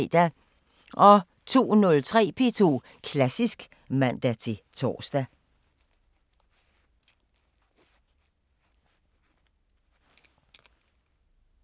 02:03: P2 Klassisk (man-tor)